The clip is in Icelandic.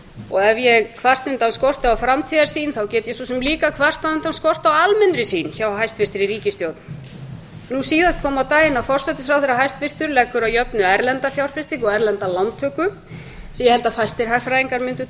og ef ég kvarta undan skorti á framtíðarsýn get ég svo sem líka kvartað undan skorti á almennri sýn hjá hæstvirtri ríkisstjórn nú síðast kom á daginn að forsætisráðherra hæstvirtur leggur að jöfnu erlenda fjárfestingu og erlenda lántöku sem ég held að fæstir hagfræðingar mundu